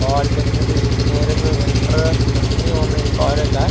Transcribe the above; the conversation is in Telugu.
పాలిటెక్నిక్ ఇంజనీరింగ్ ఇంటర్ అన్నీ ఉన్నాయి ఈ కాలేజీ లో. --